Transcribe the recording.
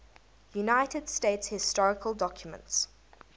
united states historical documents